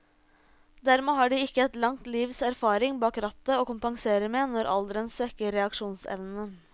Dermed har de ikke et langt livs erfaring bak rattet å kompensere med når alderen svekker reaksjonsevnen.